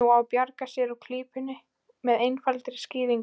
Nú á að bjarga sér úr klípunni með einfaldri skýringu.